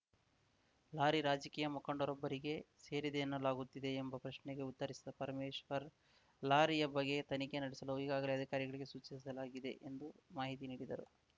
lorry ರಾಜಕೀಯ ಮುಖಂಡರೊಬ್ಬರಿಗೆ ಸೇರಿದೆ ಎನ್ನಲಾಗುತ್ತಿದೆ ಎಂಬ ಪ್ರಶ್ನೆಗೆ ಉತ್ತರಿಸಿದ ಪರಮೇಶ್ವರ್‌ ಲಾರಿಯ ಬಗ್ಗೆ ತನಿಖೆ ನಡೆಸಲು ಈಗಾಗಲೇ ಅಧಿಕಾರಿಗಳಿಗೆ ಸೂಚಿಸಲಾಗಿದೆ ಎಂದು ಮಾಹಿತಿ ನೀಡಿದರು